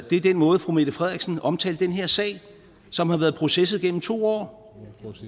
det er den måde fru mette frederiksen omtalte den her sag som har været processet gennem to år